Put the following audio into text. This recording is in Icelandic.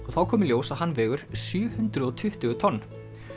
þá kom í ljós að hann vegur sjö hundruð og tuttugu tonn